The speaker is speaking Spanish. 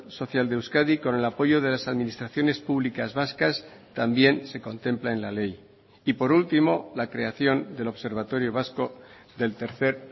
social de euskadi con el apoyo de las administraciones públicas vascas también se contempla en la ley y por último la creación del observatorio vasco del tercer